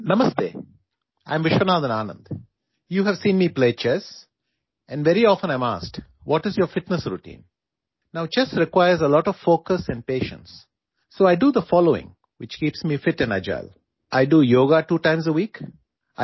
''نمستے، میں وشواناتھن آنند ہوں، آپ نے مجھے شطرنج کھیلتے دیکھا ہے اور اکثر مجھ سے پوچھا جاتا ہے، آپ کی فٹنس روٹین کیا ہے؟ اب شطرنج میں بہت زیادہ توجہ اور صبر کی ضرورت ہوتی ہے، اس لیے میں مندرجہ ذیل کام کرتا ہوں جو مجھے فٹ اور چست رکھتا ہے